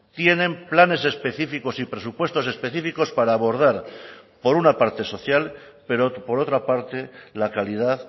tienen planes específicos y presupuestos específicos para abordar por una parte social pero por otra parte la calidad